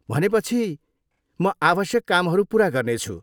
भनेपछि म आवश्यक कामहरू पुरा गर्नेछु।